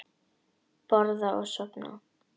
Borða og sofa.